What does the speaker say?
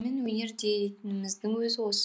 өнер дейтініміздің өзі осы